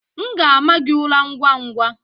M ga-ama gị ụra ngwa ngwa.